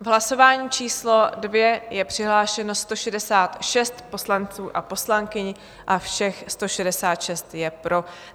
V hlasování číslo 2 je přihlášeno 166 poslanců a poslankyň a všech 166 je pro.